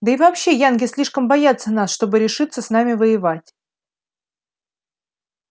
да и вообще янки слишком боятся нас чтобы решиться с нами воевать